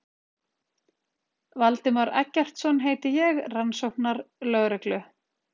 Valdimar Eggertsson heiti ég, rannsóknarlögreglu